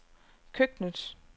køkkenet